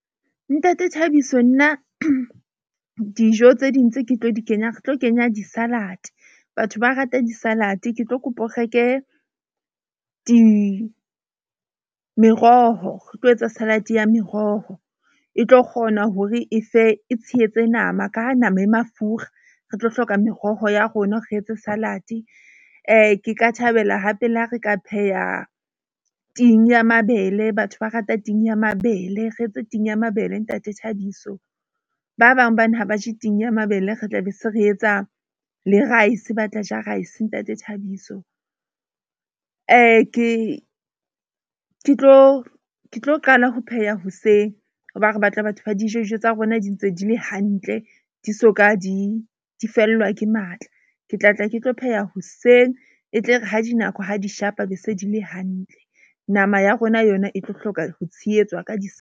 Ntate Thabiso nna dijo tse ding tse ke tlo di kenya, ke tlo kenya di-salad. Batho ba rata di-salad-e ke tlo kopa o reke meroho. Re tlo etsa salad-e ya meroho e tlo kgona hore e fe e tshehetse nama ka ha nama e mafura, re tlo hloka meroho ya rona, re etse salad-e. Ke ka thabela hape le ha re ka pheha ting ya mabele. Batho ba rata ting ya mabele, re etse ting ya mabele. Ntate Thabiso ba bang ha ba je ting ya mabele. Re tla be se re etsa le rice ba tla ja rice Ntate Thabiso. Ke tlo qala ho pheha hoseng hoba re batla batho ba di je dijo tsa rona di ntse di le hantle di soka di fellwa ke matla. Ke tla tla ke tlo pheha hoseng e tle re ha dinako ha di shapa be se di le hantle. Nama ya rona yona e tlo hloka ho tshehetswa ka di .